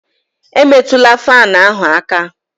Emetụla fáan ahụ aka